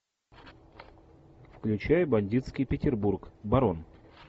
включай бандитский петербург барон